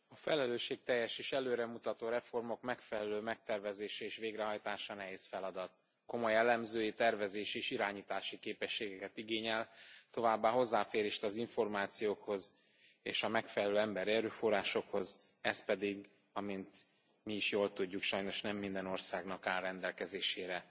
Elnök Úr, a felelősségteljes és előremutató reformok megfelelő megtervezése és végrehajtása nehéz feladat, komoly elemzői, tervezési és irányítási képességeket igényel, továbbá hozzáférést az információkhoz és a megfelelő emberi erőforrásokhoz, ez pedig, amint mi is jól tudjuk, sajnos nem minden országnak áll rendelkezésére.